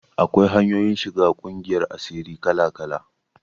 Akwai hanyoyin shiga ƙungiyar asiri kala-kala.